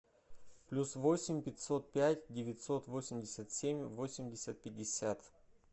плюс восемь пятьсот пять девятьсот восемьдесят семь восемьдесят пятьдесят